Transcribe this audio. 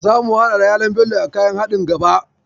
Zamu haɗa da yalon Bello a kayan haɗin gaba.